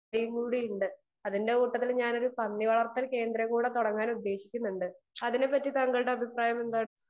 speaker 2 കൂടി ഉണ്ട് അതിന്റെ കൂട്ടത്തിൽ ഒരു പന്നി വളർത്തൽ കേന്ദ്രം കൂടെ തുടങ്ങാൻ ഉദ്ദേശിക്കുന്നുണ്ട് അതിനെപ്പറ്റി താങ്കളുടെ അഭിപ്രായം എന്താണ്